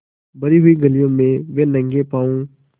भरी हुई गलियों में वे नंगे पॉँव स्